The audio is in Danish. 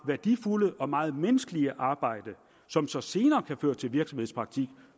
værdifulde og meget menneskelige arbejde som så senere kan føre til virksomhedspraktik